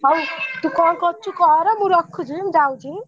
ହଉ ତୁ କଣ କରୁଛୁ କର ମୁଁ ରଖୁଛି ଯାଉଛି।